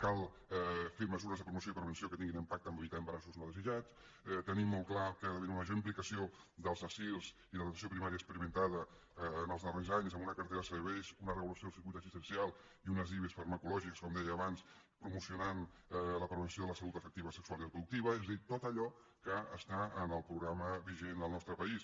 cal fer mesures de promoció i prevenció que tinguin impacte en el fet d’evitar embarassos no desitjats tenir molt clar que hi ha d’haver una major implicació dels assir i de l’atenció primària experimentada en els darrers anys amb una cartera de serveis una regulació del circuit assistencial i unes ive farmacològiques com deia abans i promocionar la prevenció de la salut afectiva sexual i reproductiva és a dir tot allò que està en el programa vigent al nostre país